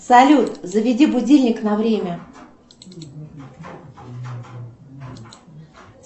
салют заведи будильник на время